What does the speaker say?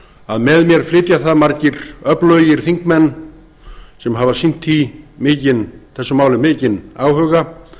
að með mér flytja það margir öflugir þingmenn sem hafa sýnt þessu máli mikinn áhuga og